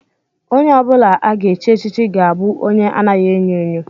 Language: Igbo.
Onye ọ bụla a ga-echi echichi ga-abụ onye anaghị enyo enyo